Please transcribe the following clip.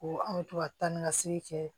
Ko an bɛ to ka taa ni ka segin kɛ